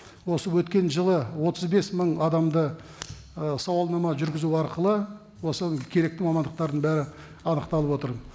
осы өткен жылы отыз бес мың адамды ы сауалнама жүргізу арқылы осы керекті мамандықтардың бәрі анықталып отыр